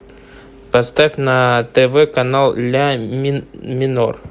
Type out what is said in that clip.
поставь на тв канал ля минор